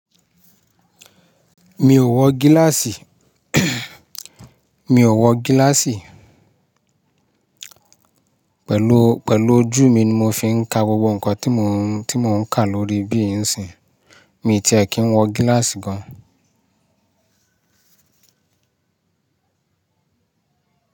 Mi ò wọ gíláàsì, mi ò wọ gíláàsì. Pẹ̀lú, pẹ̀lú ojú mi ni mo fi ń ka gbogbo nǹkan tí mò ń, tí mò ń kà lórí bí ì ń sìn. Mi ò tí ẹ kí ń wọ gíláàsì gan.